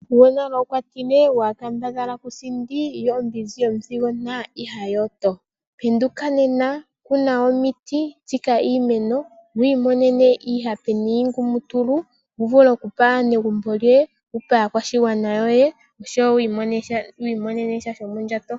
Gwonale okwatile waakambadhala kusindi, yo ombinzi yomuthigona iha yooto, penduka nena, kuna omiti, tsika iimeno wiimonene iihape niingumutulu wuvule okupa aanegumbo lyoye, wupe aakwashigwana yoye no kwii monenasha shomondjato.